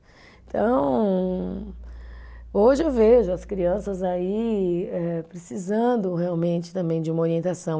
Então, hoje eu vejo as crianças aí eh precisando realmente também de uma orientação.